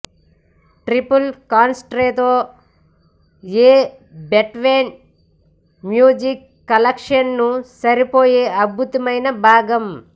triple concerto a Beethoven music కలెక్షన్కు సరిపోయే అద్భుతమైన భాగం